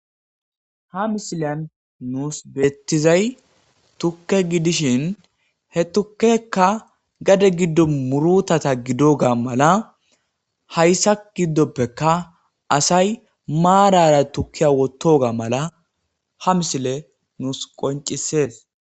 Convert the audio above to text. Ha misiliyan nus bettizay tukke gidishin he tukkeyka gade gidon murtata gidoga mala haysa gidoppekka marara tukkiya wottogadan mala ha misiley nus qonc'isses.